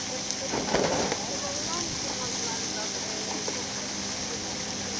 Yox, o da başqa cür adlandırılır